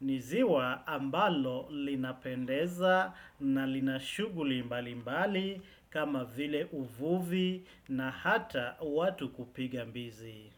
Ni ziwa ambalo linapendeza na lina shuguli mbali mbali kama vile uvuvi na hata watu kupiga mbizi.